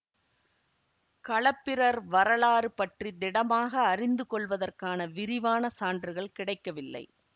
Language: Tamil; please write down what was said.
களப்பிரர் வரலாறு பற்றி திடமாக அறிந்து கொள்வதற்கான விரிவான சான்றுகள் கிடைக்கவில்லை